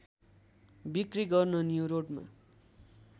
बिक्री गर्न न्युरोडमा